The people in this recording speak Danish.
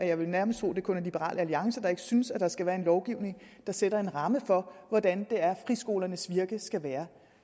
jeg vil nærmest tro at det kun er liberal alliance der ikke synes at der skal være en lovgivning der sætter en ramme for hvordan det er friskolernes virke skal være